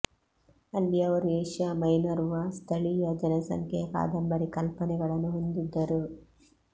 ಅಲ್ಲಿ ಅವರು ಏಷ್ಯಾ ಮೈನರ್ನ ಸ್ಥಳೀಯ ಜನಸಂಖ್ಯೆಯ ಕಾದಂಬರಿ ಕಲ್ಪನೆಗಳನ್ನು ಹೊಂದಿದ್ದರು